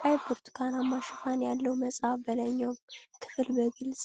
ቀይ ብርቱካናማ ሽፋን ያለው መጽሐፍ፤ በላይኛው ክፍል በግልጽ